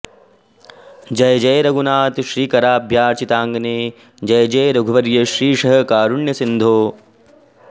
जय जय रघुनाथ श्रीकराभ्यर्चिताङ्घ्ने जय जय रघुवर्य श्रीश कारुण्यसिन्धो